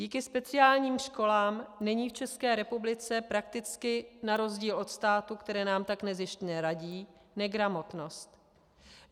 Díky speciálním školám není v České republice prakticky - na rozdíl od států, které nám tak nezištně radí - negramotnost.